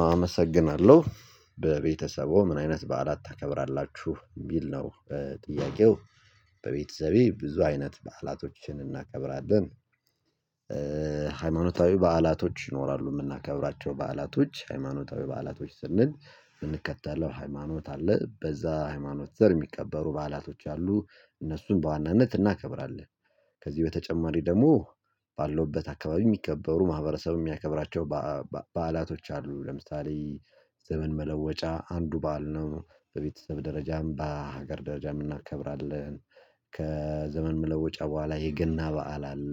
አመሰግናለሁ በቤተሰበዎ ምን አይነት በዓላት ታከብራላችሁ የሚል ነው? ጥያቄው በቤተሰቤ ብዙ አይነት በዓላቶችን እናከብራለን። ሃይማኖታዊ በዓላቶች ይኖራሉ የምናከብራቸው በዓላቶች ሃይማኖታዊ በዓላቶች ስንል የምንከተለው ሃይማኖት አለ በዛ ሃይማኖት ስር የሚከበሩ በዓላቶች አሉ እነሱን በዋናነት እናከብራለን። ከዚህ በተጨማሪ ደግሞ ባለሁበት አካባቢ የሚከበሩ ማህበረሰብ የሚያከብራቸው በአ በአ በዓላቶች አሉ ለምሳሌ ዘመን መለወጫ አንዱ በዓል ነው በቤተሰብ ደረጃም በሀገር ደረጃም እናከብራለን። ከዘመን መለወጫ በኋላ የገና በዓል አለ።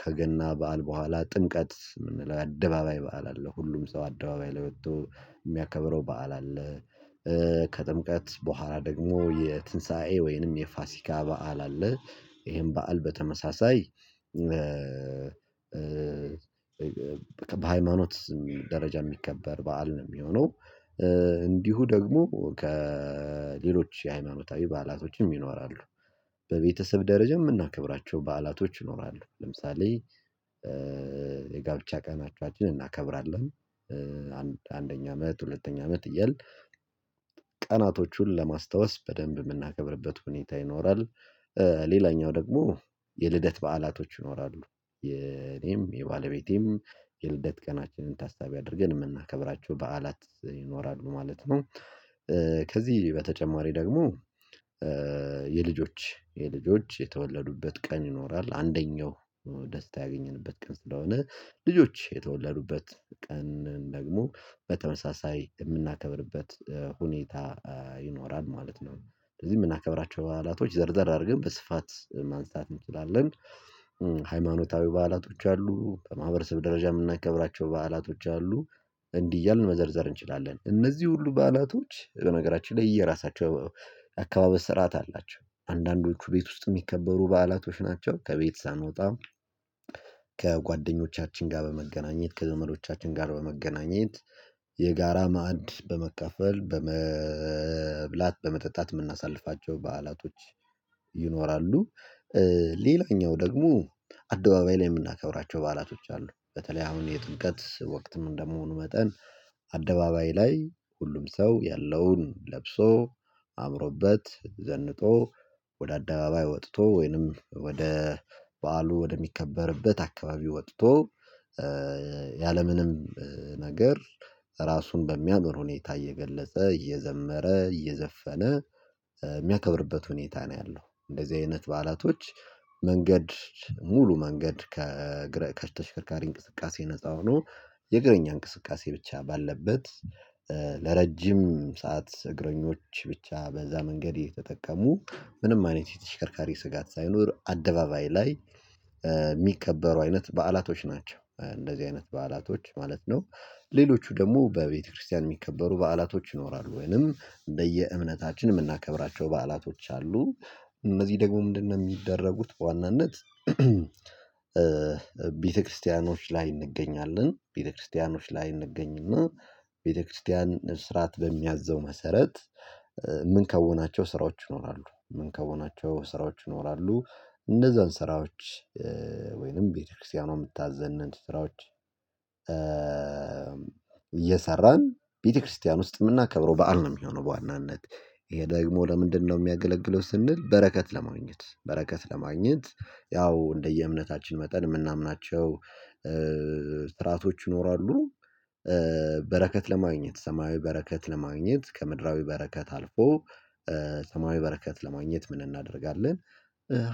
ከገና በዓል በኋላ ጥምቀት የምንለው የአደባባይ በዓል አለ ሁሉም ሰው አደባባይ ላይ ወጥቶ የሚያከብረው በዓል አለ። ከጥምቀት በኋላ ደግሞ የትንሳኤ ወይንም የፋሲካ በዓል አለ። ይሄም በዓል በተመሳሳይ በሃይማኖት ደረጃ የሚከበር በዓል ነው የሚሆነው። እንዲሁ ደግሞ ከሌሎች የሃይማኖታዊ በዓላቶችም ይኖራሉ። በቤተሰብ ደረጃ የምናከብራቸው በዓላቶች ይኖራሉ። ለምሳሌ የጋብቻ ቀናችን እናከብራለን አንድ አንደኛ አመት ሁለተኛ አመት እያልን ቀናቶቹን ለማስታወስ በደንብ የምናከብርበት ሁኔታ ይኖራል። ሌላኛው ደግሞ የልደት በዓላቶች ይኖራሉ። የኔም የባለቤቴም የልደት ቀናችንን ታሳቢ አድርገን የምናከብራቸው በዓላት ይኖራሉ ማለት ነው። ከዚህ በተጨማሪ ደግሞ የልጆች የልጆች የተወለዱበት ቀን ይኖራል። አንደኛው ደስታ ያገኘንበት ቀን ስለሆነ ልጆች የተወለዱበት ቀን ደግሞ በተመሳሳይ የምናከብርበት ሁኔታ ይኖራል ማለት ነው። ስለዚህ የምናከብራቸው በዓላቶች ዘርዝር አድርገን በስፋት ማንሳት እንችላለን። ሃይማኖታዊ በዓላቶች አሉ በማህበረሰብ ደረጃ የምናከብራቸው በዓላቶች አሉ። እንዲህ እያልን መዘርዘር እንችላለን። እነዚህ ሁሉ በዓላቶች በነገራችን ላይ የየራሳቸው የአከባበር ስርዓት አላቸው። አንዳንዶቹ ቤት ውስጥ የሚከበሩ በዓላቶች ናቸው። ከቤት ሳንወጣ ከጓደኞቻችን ጋር በመገናኘት ከዘመዶቻችን ጋር በመገናኘት የጋራ ማዕድ በመካፈል በመብላት በመጠጣት የምናሳልፋቸው በዓላቶች ይኖራሉ። ሌላኛው ደግሞ አደባባይ ላይ የምናከብራቸው በዓላቶች አሉ። በተለይ አሁን የጥምቀት ወቅትም እንደመሆኑ መጠን አደባባይ ላይ ሁሉም ሰው ያለውን ለብሶ አምሮበት ዘንጦ ወደ አደባባይ ወጥቶ ወይንም ወደ በዓሉ ወደሚከበርበት አካባቢ ወጥቶ ያለምንም ነገር ራሱን በሚያምር ሁኔታ እየገለጸ እየዘመረ እየዘፈነ የሚያከብርበት ሁኔታ ነው። ያለው እንደዚህ አይነት በዓላቶች መንገድ ሙሉ መንገድ ከእግረ ከተሽከርካሪ እንቅስቃሴ ነፃ ሆኖ የእግረኛ እንቅስቃሴ ብቻ ባለበት ለረጅም ሰዓት እግረኞች ብቻ በዛ መንገድ እየ ተጠቀሙ ምንም አይነት የተሽከርካሪ ስጋት ሳይኖር አደባባይ ላይ የሚከበሩ አይነት በዓላቶች ናቸው እንደዚህ አይነት በዓላቶች ማለት ነው። ሌሎቹ ደግሞ በቤተክርስቲያን የሚከበሩ በዓላቶች ይኖራሉ ወይንም በየእምነታችን የምናከብራቸው በዓላቶች አሉ። እነዚህ ደግሞ ምንድንነው የሚደረጉት በዋናነት? ቤተክርስቲያኖች ላይ እንገኛለን ቤተክርስቲያኖች ላይ እንገኝ እና ቤተክርስቲያን ስርዓት በሚያዘው መሰረት የምንከውናቸው ስራዎች ይኖራሉ የምንከውናቸው ስራዎች ይኖራሉ። እንነዛን ስራዎች ወይንም ቤተክርስቲያኗ የምታዘንን ስራዎች እየሰራን ቤተክርስቲያን ውስጥ የምናከብረው በዓል ነው የሚሆነው። በዋናነት ይሄ ደግሞ ለምንድንነው የሚያገለግለው ስንል? በረከት ለማግኘት በረከት ለማግኘት ያው እንደየእምነታችን መጠን የምናምናቸው ሥራዓቶች ይኖራሉ። በረከት ለማግኘት ሰማያዊ በረከት ለማግኘት ከምድራዊ በረከት አልፎ ሰማያዊ በረከት ለማግኘት ምን እናደርጋለን?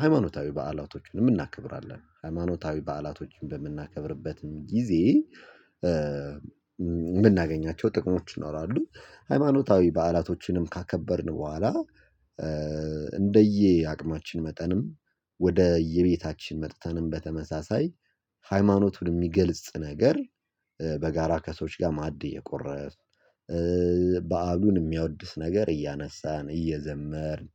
ሃይማኖታዊ በዓላቶችንም እናከብራለን ሃይማኖታዊ በዓላቶችን በምናከብርበትም ጊዜ የምናገኛቸው ጥቅሞች ይኖራሉ። ሃይማኖታዊ በዓላቶችንም ካከበርን በኋላ እንደየ አቅማችን መጠንም ወደ እየቤታችን መጥተንም በተመሳሳይ ሃይማኖቱን የሚገልጽ ነገር በጋራ ከሰዎች ጋር ማዕድ እየቆረስን በዓሉን የሚያወድስ ነገር እያነሳን እየዘመርን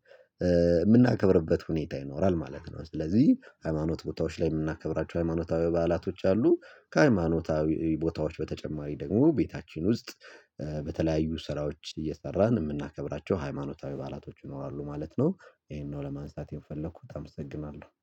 የምናከብርበት ሁኔታ ይኖራል። ማለት ነው። ስለዚህ ሃይማኖት ቦታዎች ላይ የምናከብራቸው ሃይማኖታዊ በዓላቶች አሉ። ከሃይማኖታዊ ቦታዎች በተጨማሪ ደግሞ ቤታችን ውስጥ በተለያዩ ስራዎች እየሰራን የምናከብራቸው ሃይማኖታዊ በዓላቶች ይኖራሉ ማለት ነው። ይሄንን ነው ለማንሳት የምፈልኩት እመሰግናለሁ